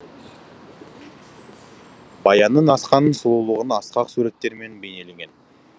баянның асқан сұлулығына асқақ суреттермен бейнелеген